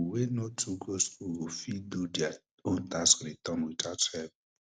wey no too go school go fit do dia own tax returns tout help